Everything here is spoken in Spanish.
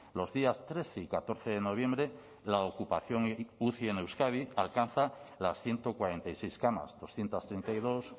los días trece y catorce de noviembre la ocupación uci en euskadi alcanza las ciento cuarenta y seis camas doscientos treinta y dos